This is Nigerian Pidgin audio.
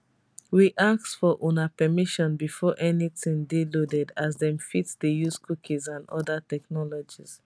we ask for una permission before anytin dey loaded as dem fit dey use cookies and oda technologies